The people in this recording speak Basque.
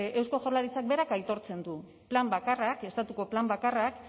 eusko jaurlaritzak berak aitortzen du plan bakarra estatuko plan bakarrak